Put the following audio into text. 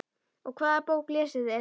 Og hvaða bók lesið þið?